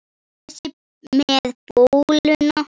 Þessi með bóluna?